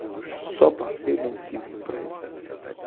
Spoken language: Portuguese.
Eu só passei, não estive em praia em Santa Catarina.